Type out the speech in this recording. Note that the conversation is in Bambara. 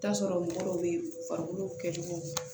I bi t'a sɔrɔ mɔgɔ dɔw be yen farikolo kɛlɛ cogo